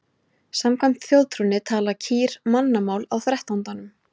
Samkvæmt þjóðtrúnni tala kýr mannamál á þrettándanum.